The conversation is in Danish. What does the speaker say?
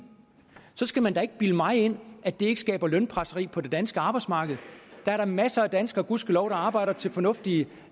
så skal man da ikke bilde mig ind at det ikke skaber lønpresseri på det danske arbejdsmarked der er da masser af danskere gudskelov der arbejder til fornuftige